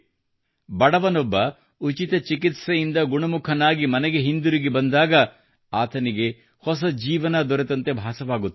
ಬಡವನೊಬ್ಬ ಉಚಿತ ಚಿಕಿತ್ಸೆಯಿಂದ ಗುಣಮುಖನಾಗಿ ಮನೆಗೆ ಹಿಂದಿರುಗಿ ಬಂದಾಗ ಆತನಿಗೆ ಹೊಸ ಜೀವನ ದೊರೆತಂತೆ ಭಾಸವಾಗುತ್ತದೆ